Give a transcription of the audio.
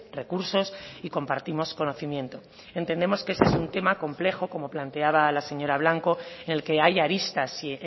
recursos y compartimos conocimiento entendemos que ese es un tema complejo como planteaba la señora blanco en el que hay aristas si